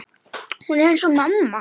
Hún er eins og mamma.